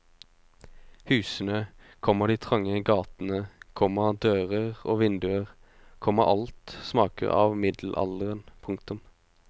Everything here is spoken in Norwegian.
Husene, komma de trange gatene, komma dører og vinduer, komma alt smaker av middelalderen. punktum